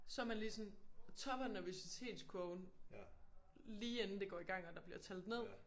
Så man ligesom på toppen af nervøsitetskurven lige inden det går i gang og der bliver talt ned